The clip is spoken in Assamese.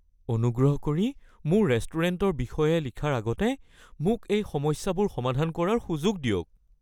অনুগ্ৰহ কৰি মোৰ ৰেষ্টুৰেণ্টৰ বিষয়ে লিখাৰ আগতে মোক এই সমস্যাবোৰ সমাধান কৰাৰ সুযোগ দিয়ক (চেফ)